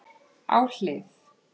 Á hlið